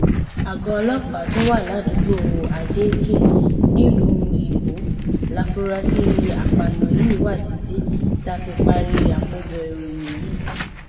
àgọ ọlọpàá tó wà ládùúgbò adeeké nílùú iwọ láforasí àpààyàn yìí wà títí tá a fi parí àkójọ ìròyìn yìí